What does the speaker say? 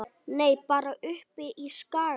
Nei, bara uppi á Skaga.